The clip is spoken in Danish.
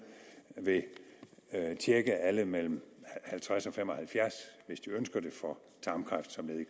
vil tjekke alle mellem halvtreds og fem og halvfjerds år hvis de ønsker det for tarmkræft som led i